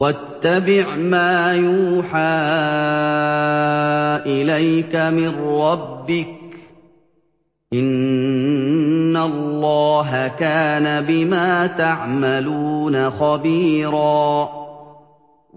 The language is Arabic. وَاتَّبِعْ مَا يُوحَىٰ إِلَيْكَ مِن رَّبِّكَ ۚ إِنَّ اللَّهَ كَانَ بِمَا تَعْمَلُونَ خَبِيرًا